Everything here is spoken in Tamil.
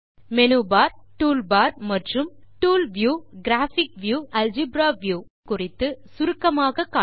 இங்கே மேனு பார் டூல் பார் மற்றும் டூல் வியூ கிராபிக் வியூ மற்றும் அல்ஜெப்ரா வியூ குறித்துச் சுருக்கமாக சொல்வேன்